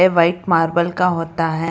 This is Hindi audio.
व्हाइट मार्बल का होता है।